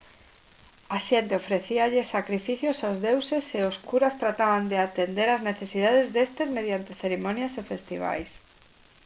a xente ofrecíalles sacrificios aos deuses e os curas trataban de atender ás necesidades destes mediante cerimonias e festivais